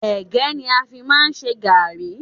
Ẹ̀gẹ́ ni a fi máà ń ṣe gàrrí.